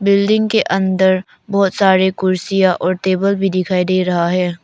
Building के अंदर बहोत सारी कुर्सियां और टेबल भी दिखाई दे रहा है।